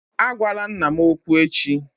Agwala nna m okwu echi!